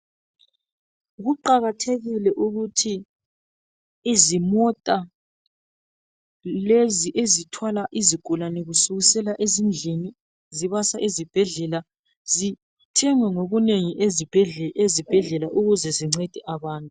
Kuqakathekile ukuthi izimota lezi ezithwala izigulane kusukisela ezindlini zibasa ezibhedlela zithengwe ngobunengi ezibhedlela ukuze zincede abantu.